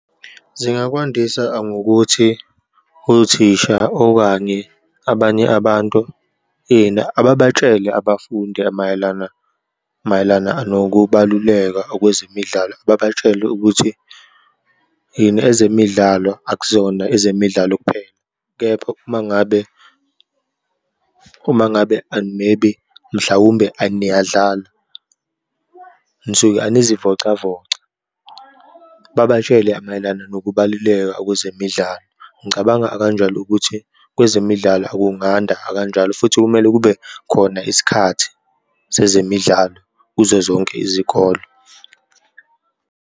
Zingakwandisa angokuthi othisha okanye abanye abantu, ini ababatshele abafundi mayelana, mayelana nokubaluleka okwezemidlalo, babatshele ukuthi yini, ezemidlalo akuzona ezemidlalo kuphela. Kepha uma ngabe, uma ngabe and maybe, mhlawumbe aniyadlala, nisuke anizivocavoca, babatshele mayelana nokubaluleka okwezemidlalo. Ngicabanga akanjalo ukuthi kwezemidlalo akunganda akanjalo, futhi kumele kube khona isikhathi sezemidlalo kuzo zonke izikolo.